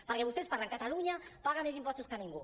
perquè vostès parlen catalunya paga més impostos que ningú